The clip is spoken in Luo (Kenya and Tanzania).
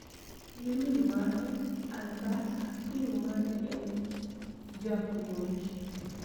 Gi min mare Alberta King ma ne en japuonj